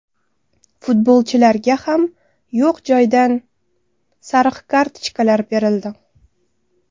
Futbolchilarga ham yo‘q joydan sariq kartochkalar berildi.